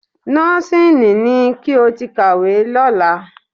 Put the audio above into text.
Nọ́ọ́sìnì ni kí o ti kàwé lọ́la